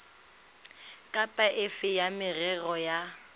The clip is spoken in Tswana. kapa efe ya merero ya